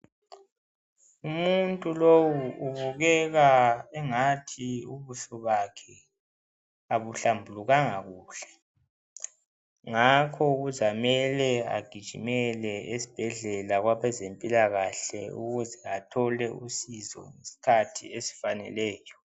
Umuntu lowu ubukeka engathi ubuso bakhe abuhlambulukanga kuhle, ngakho kuzamele agijimele esbhedlela kwabezempilakahle ukuze athole usizo ngeskhathi esfaneleyo.